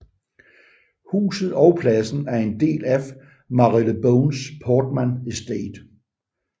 Huset og pladsen er en del af Marylebones Portman Estate